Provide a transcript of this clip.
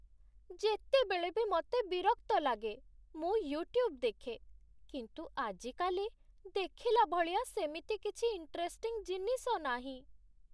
ଯେତେବେଳେ ବି ମତେ ବିରକ୍ତ ଲାଗେ, ମୁଁ ୟୁଟ୍ୟୁବ୍ ଦେଖେ । କିନ୍ତୁ ଆଜିକାଲି ଦେଖିଲା ଭଳିଆ ସେମିତି କିଛି ଇଣ୍ଟରେଷ୍ଟିଂ ଜିନିଷ ନାହିଁ ।